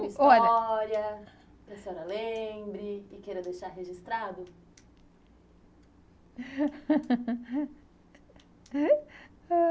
Olha, uma história, que a senhora lembre e queira deixar registrado?